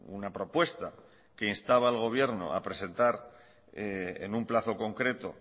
una propuesta que instaba al gobierno a presentar en un plazo concreto